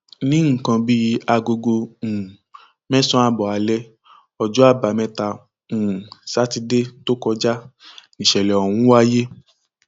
ní nǹkan bíi aago um mẹsànán ààbọ alẹ ọjọ àbámẹta um sátidé tó kọjá níṣẹlẹ ọhún wáyé